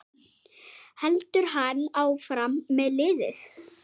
Heldur hann áfram með liðið?